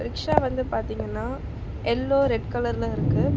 rickshaw வந்து பாத்தீங்கன்னா yellow red கலர்ல இருக்கு ப--